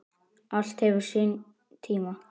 Allt hefur sinn tíma